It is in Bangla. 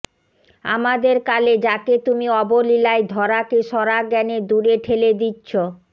আমাদের কালে যাকে তুমি অবলীলায় ধরাকে সরা জ্ঞানে দূরে ঠেলে দিচ্ছো